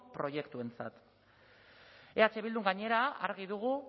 proiektuentzat eh bildun gainera argi dugu